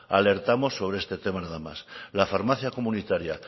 alertamos sobre este tema nada más la farmacia comunitaria